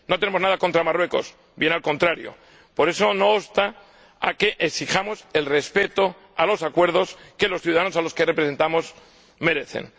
No tenemos nada contra Marruecos, bien al contrario, pero eso no obsta a que exijamos el respeto a los acuerdos que los ciudadanos a los que representamos merecen.